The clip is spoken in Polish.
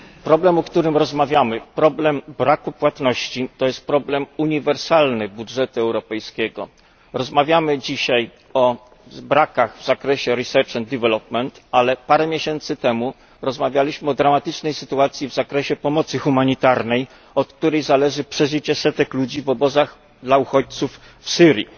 Problem, o którym rozmawiamy problem braku płatności to jest problem uniwersalny budżetu europejskiego. Rozmawiamy dzisiaj o brakach w zakresie badań i rozwoju, ale parę miesięcy temu rozmawialiśmy o dramatycznej sytuacji w zakresie pomocy humanitarnej, od której zależy przeżycie setek ludzi w obozach dla uchodźców w Syrii.